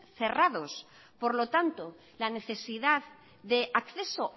cerrados por lo tanto la necesidad de acceso